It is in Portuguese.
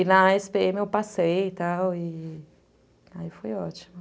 E na esse pê eme eu passei e tal, e aí foi ótimo.